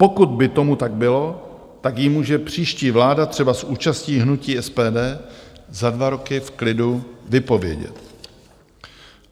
Pokud by tomu tak bylo, tak ji může příští vláda třeba s účastí hnutí SPD za dva roky v klidu vypovědět.